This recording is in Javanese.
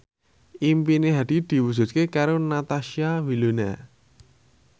impine Hadi diwujudke karo Natasha Wilona